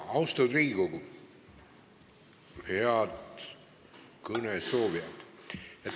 Austatud Riigikogu, head kõnesoovijad!